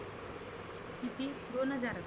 किती दोन हजार?